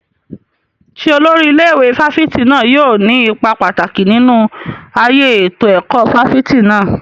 Ṣé olórí ilé ìwé fáfitì náà yóò ní ipa pàtàkì nínú ayé ètò ẹ̀kọ́ fáfitì náà?